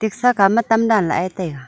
saga ma tam dan lah e taiga.